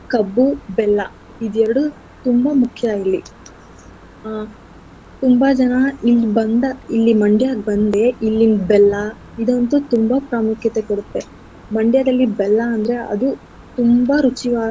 ಕಬ್ಬು, ಬೆಲ್ಲ ಇದೆರ್ಡು ತುಂಬಾ ಮುಖ್ಯ ಇಲ್ಲಿ. ಆ ತುಂಬಾ ಜನ ಇಲ್ಲಿ ಬಂದ ಇಲ್ಲಿ Mandya ಗ್ ಬಂದೆ ಇಲ್ಲಿನ್ ಬೆಲ್ಲ ಇದಂತು ತುಂಬಾ ಪ್ರಾಮುಖ್ಯತೆ ಕೊಡತ್ತೆ Mandya ದಲ್ಲಿ ಬೆಲ್ಲ ಅಂದ್ರೆ ಅದು ತುಂಬಾ ರುಚಿಯ.